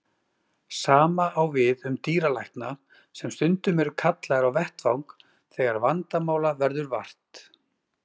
Sama á við um dýralækna sem stundum eru kallaðir á vettvang þegar vandamála verður vart.